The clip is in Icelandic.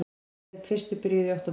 Þeir fyrstu byrjuðu í október